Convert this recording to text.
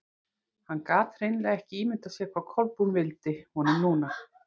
Hann gat hreinlega ekki ímyndað sér hvað Kolbrún vildi honum núna.